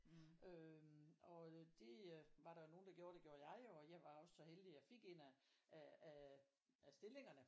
Øhm og det øh var der jo nogen der gjorde og det gjorde jeg jo og jeg var jo så heldig at jeg fik en af af af stillingerne